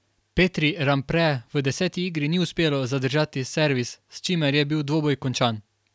Petri Rampre v deseti igri ni uspelo zadržati servis, s čimer je bil dvoboj končan.